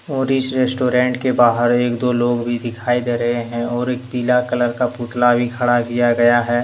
और इस रेस्टोरेंट के बाहर एक दो लोग भी दिखाई दे रहे हैं और एक पीला कलर का पुतला भी खड़ा किया गया है।